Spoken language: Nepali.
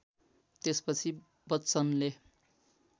त्यसपछि बच्चनले